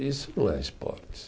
Isso não é esporte.